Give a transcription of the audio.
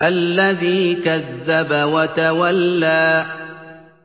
الَّذِي كَذَّبَ وَتَوَلَّىٰ